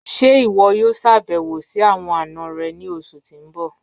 Ṣẹ́ iwọ yọ̀o ṣàbẹ̀wò sí awọn ana rẹ̀ ni ọṣù tí n bọ̀?